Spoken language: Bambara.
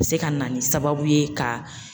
O bi se ka na ni sababu ye ka